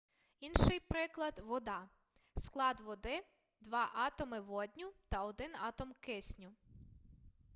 інший приклад вода склад води два атоми водню та один атом кисню